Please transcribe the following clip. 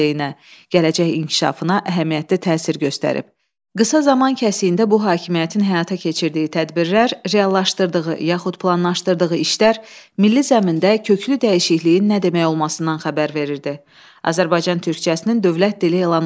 Azərbaycan Türkcəsinin dövlət dili elan olunması, milli mətbuatın genişlənməsi, Bakı Dövlət Universitetinin təsis edilməsi, Azərbaycan Dövlət Teatrının, müxtəlif cəmiyyət və biliklərin yaranması və sair Cümhuriyyət dövründə çoxsahəli, səmərəli işin aparıldığını təsdiq edirdi.